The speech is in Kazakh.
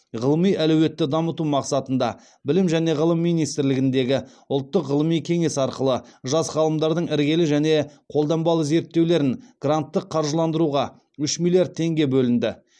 ғылыми әлеуетті дамыту мақсатында білім және ғылым министрлігіндегі ұлттық ғылыми кеңес арқылы жас ғалымдардың іргелі және қолданбалы зерттеулерін гранттық қаржыландыруға үш миллиард теңге бөлінді